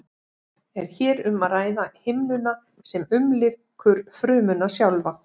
er hér um að ræða himnuna sem umlykur frumuna sjálfa